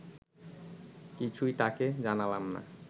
কিছুই তাকে জানালাম না